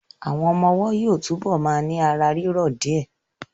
Àwọn ọmọ ọwọ́ yóò túbọ̀ ma ní ara rírọ̀ d rẹ